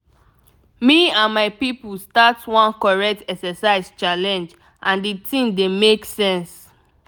me and my people start one correct exercise challenge and the thing dey make sense.